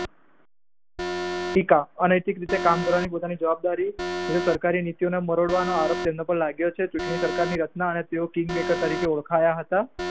ટીકા અનૈતિક રીતે કામ કરવાની પોતાની જવાબદારી સરકારીનીતીનાં મરોડવાનો આરોપ તેમના પાર લાગ્યો છે ચૂંટણી સરકારની રચના અને તેઓ કિંગમેકર તરીકે ઓળખાયા હતા.